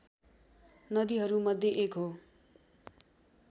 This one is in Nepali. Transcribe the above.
नदीहरूमध्ये एक हो